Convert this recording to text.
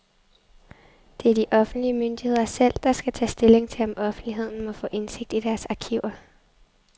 Det er de offentlige myndigheder selv, der skal tage stilling til, om offentligheden må få indsigt i deres arkiver.